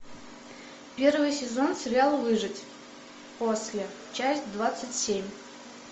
первый сезон сериал выжить после часть двадцать семь